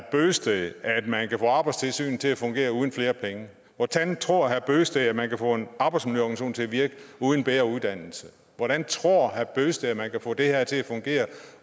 bøgsted at man kan få arbejdstilsynet til at fungere uden flere penge hvordan tror herre bent bøgsted at man kan få en arbejdsmiljøorganisation til at virke uden bedre uddannelse hvordan tror herre bent bøgsted man kan få det her til at fungere